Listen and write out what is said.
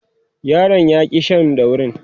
yaron ya ki Shan daurin